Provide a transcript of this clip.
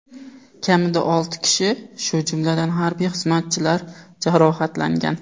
Kamida olti kishi, shu jumladan, harbiy xizmatchilar jarohatlangan.